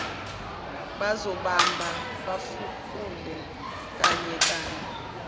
bazobamba bafukule kanyekanye